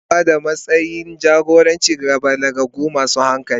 Ana ba da matsayin jagoranci ga balagagge masu hankali.